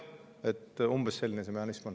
Umbes selline see mehhanism on.